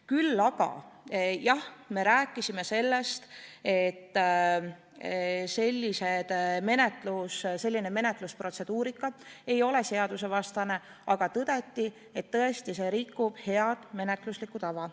Küll aga rääkisime sellest, et selline menetlusprotseduur ei ole seadusevastane, samas tõdeti, et see tõesti rikub head menetlustava.